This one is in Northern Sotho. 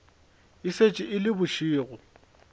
e šetše e le bošego